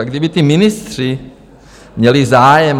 A kdyby ti ministři měli zájem...